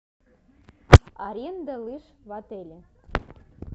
аренда лыж в отеле